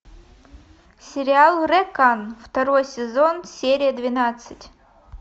сериал рекан второй сезон серия двенадцать